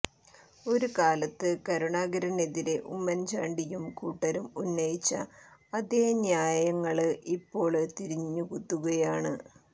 ഒരു കാലത്ത് കരുണാകരനെതിരെ ഉമ്മന്ചാണ്ടിയും കൂട്ടരും ഉന്നയിച്ച അതേ ന്യായങ്ങള് ഇപ്പോള് തിരിഞ്ഞുകുത്തുകയാണ്